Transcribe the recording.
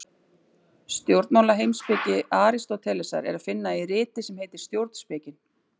Stjórnmálaheimspeki Aristótelesar er að finna í riti sem heitir Stjórnspekin.